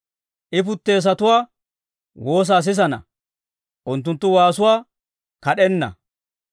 I puteesatuwaa woosaa sisana; unttunttu waasuwaa kad'enna.